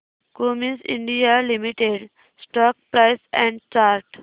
Cummins India limited stock price and chart